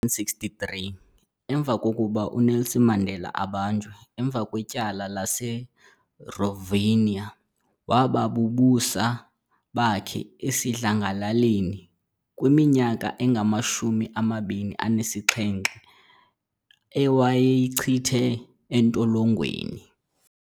63 emva kokuba uNelson Mandela abanjwe emva kwetyala lase Revonia waba bubusa bakhe esidlangalaleni kwiminyaka engama 27 ewayayichithe etolongweni